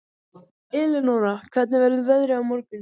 Eleonora, hvernig verður veðrið á morgun?